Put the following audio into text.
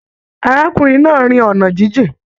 Arákùnrin náà rìn ọna jijìn.